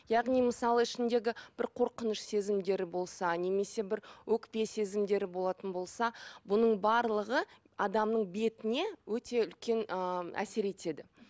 яғни мысалы ішіндегі бір қорқыныш сезімдері болса немесе бір өкпе сезімдері болатын болса бұның барлығы адамның бетіне өте үлкен ы әсер етеді